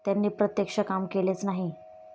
त्यांनी प्रत्यक्ष काम केलेच नाही.